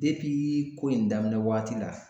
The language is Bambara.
ko in daminɛ waati la.